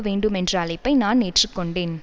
வேண்டும் என்ற அழைப்பை நான் ஏற்றுக்கொண்டேன்